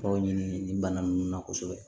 Kɔrɔw ɲi ni bana nunnu na kosɛbɛ